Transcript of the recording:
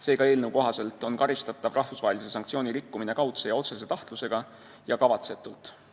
Seega, eelnõu kohaselt on karistatav rahvusvahelise sanktsiooni rikkumine kaudse ja otsese tahtlusega ja kavatsetult.